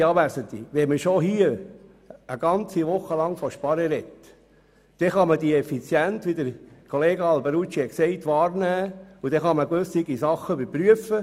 Werte Anwesende, wenn wir schon hier eine ganze Woche übers Sparen sprechen, können wir die Effizienz, die Kollege Alberucci angesprochen hat, anstreben und gewisse Dinge überprüfen.